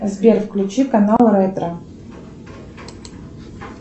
сбер включи канал ретро